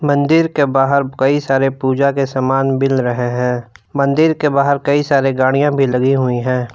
मंदिर के बाहर कई सारे पूजा के सामान मिल रहे हैं मंदिर के बाहर कई सारे गाड़ियां भी लगी हुई हैं।